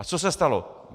A co se stalo?